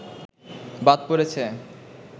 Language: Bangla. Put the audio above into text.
বাদ পড়েছে